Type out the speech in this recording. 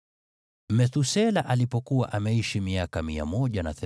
Methusela alipokuwa ameishi miaka 187, akamzaa Lameki.